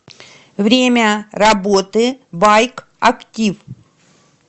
время работы байк актив